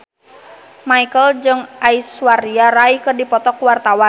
Marchell jeung Aishwarya Rai keur dipoto ku wartawan